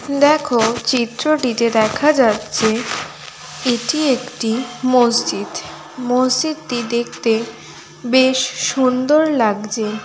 দেখো চিত্রটিতে দেখা যাচ্ছে এটি একটি মসজিদ | মসজিদটি দেখতে বেশ সুন্দর লাগছে ।